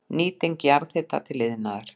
Nýting jarðhita til iðnaðar